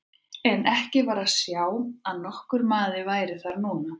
En ekki var að sjá að nokkur maður væri þar núna.